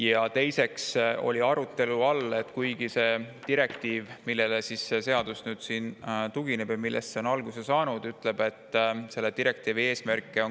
Ja veel oli arutelu all see, et sellel direktiivil, millest see eelnõu on alguse saanud, on kaks eesmärki.